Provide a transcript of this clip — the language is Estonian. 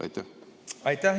Aitäh!